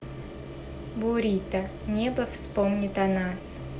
бурито небо вспомнит о нас